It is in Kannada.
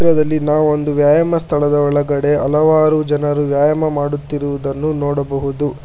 ದಲ್ಲಿ ನಾವು ಒಂದು ವ್ಯಾಯಾಮ ಸ್ಥಳದ ಒಳಗಡೆ ಹಲವರು ಜನರು ವ್ಯಾಯಾಮ ಮಾಡುತ್ತಿರುವುದನ್ನು ನೋಡಬಹುದು.